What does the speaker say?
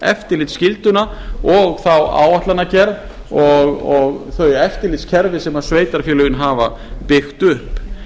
eftirlitsskylduna og þá áætlanagerð og þau eftirlitskerfi sem sveitarfélögin hafa byggt upp